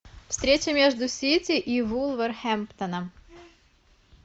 встреча между сити и вулверхэмптоном